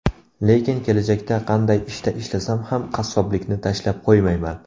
Lekin kelajakda qanday ishda ishlasam ham qassoblikni tashlab qo‘ymayman.